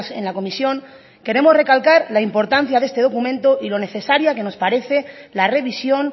en la comisión queremos recalcar la importancia de este documento y lo necesaria que nos parece la revisión